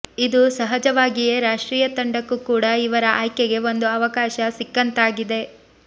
ಇದು ಸಹಜವಾಗಿಯೇ ರಾಷ್ಟ್ರೀಯ ತಂಡಕ್ಕೂ ಕೂಡ ಇವರ ಆಯ್ಕೆಗೆ ಒಂದು ಅವಕಾಶ ಸಿಕ್ಕಂತಾಗಿದೆ